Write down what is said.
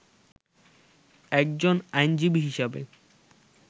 একজন আইনজীবী হিসাবে